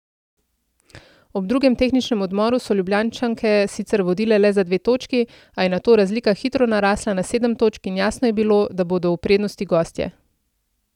Ob drugem tehničnem odmoru so Ljubljančanke sicer vodile le za dve točki, a je nato razlika hitro narasla na sedem točk in jasno je bilo, da bodo v prednosti gostje.